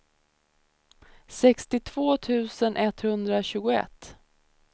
sextiotvå tusen etthundratjugoett